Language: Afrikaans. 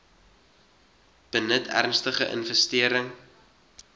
benut ernstige infestering